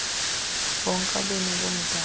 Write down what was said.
bonke abemi bomzantsi